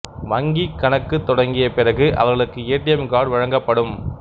வங்கி கணக்கு தொடங்கிய பிறகு அவர்களுக்கு ஏ டி எம் கார்டு வழங்கப்படும்